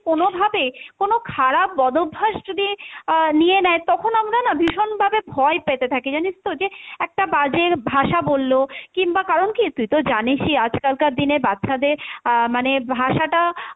কোনো ভাবে কোনো খারাপ বদ অভ্যাস যদি আহ নিয়ে নেই তখন আমরা না ভীষণ ভাবে ভয় পেতে থাকি জানিস তো, যে একটা বাজের ভাষা বললো কিংবা কারণ কী তুই তো জানিসই আজকালকার দিনে বাচ্চাদের আহ মানে ভাষাটা,